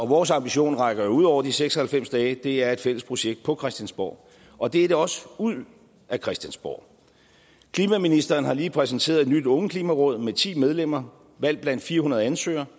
vores ambition rækker jo ud over de seks og halvfems dage det er et fælles projekt på christiansborg og det er det også ud af christiansborg klimaministeren har lige præsenteret et nyt ungeklimaråd med ti medlemmer valgt blandt fire hundrede ansøgere